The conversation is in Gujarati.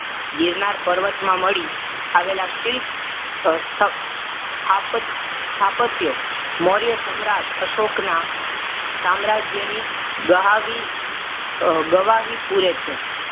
ગીરનાર પર્વતમાં મળી આવેલા શિલ્પ અ સ્થ સ્થાપ સ્થાપત્યો મૌર્ય સમ્રાટ અશોક નાસામ્રાજ્યની ગહાવી અ ગવાહી પૂરે છે.